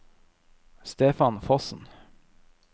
Stefan Fossen